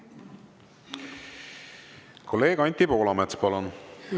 Kolleeg Anti Poolamets, palun!